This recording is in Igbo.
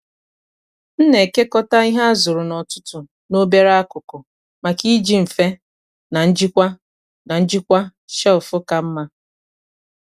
m na-ekekọta ihe a zụrụ n’ọtụtù n’obere akụkụ maka iji mfe na njikwa na njikwa shelf ka mma.